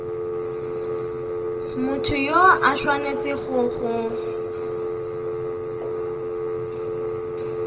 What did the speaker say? motho yo a swanetšego go